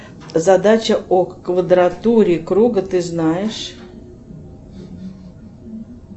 задача о квадратуре круга ты знаешь